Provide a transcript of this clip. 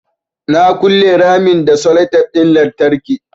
Na ƙule ramin da sellotape ɗin lantarki